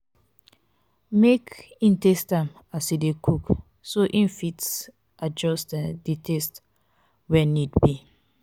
make in taste am as in de cook so in fit adjust um di taste when need be